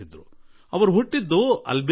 ಅವರು ಹುಟ್ಟಿದ್ದೇನೋ ಅಲ್ಬೇನಿಯಾದಲ್ಲಿ